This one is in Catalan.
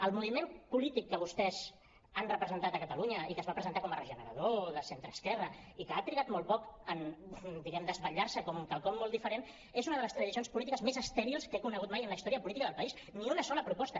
el moviment polític que vostès han representat a catalunya i que es va presentar com a regenerador de centreesquerra i que ha trigat molt poc en diguem ne desvetllar se com quelcom molt diferent és una de les tradicions polítiques més estèrils que he conegut mai en la història política del país ni una sola proposta